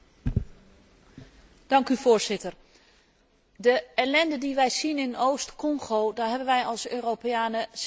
Voorzitter, de ellende die wij zien in Oost Congo, daar hebben wij als Europeanen ook zelf schuld aan.